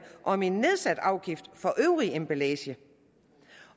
om en nedsat afgift for øvrig emballage